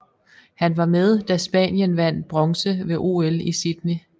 Han var med da Spanien vandt bronze ved OL I Sydney